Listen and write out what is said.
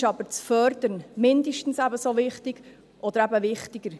Uns ist aber das «Fördern» mindestens ebenso wichtig oder eben wichtiger.